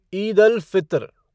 Eid al Fitr